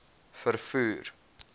vervoer